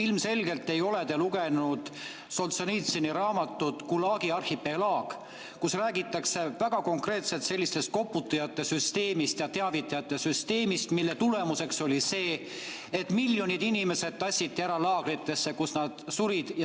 Ilmselgelt ei ole te lugenud Solženitsõni raamatut "Gulagi arhipelaag", kus räägitakse väga konkreetselt sellisest koputajate süsteemist ja teavitajate süsteemist, mille tulemuseks oli see, et miljonid inimesed tassiti ära laagritesse, kus nad surid.